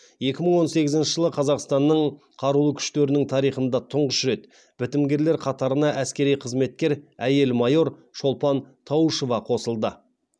екі мың он сегізінші жылы қазақсатнның қарулы күштернің тарихында тұңғыш рет бітімгерлер қатарына әскери қызметкер әйел майор шолпан тауышова қосылды